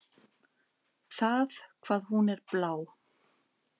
Það hvað hún er blá.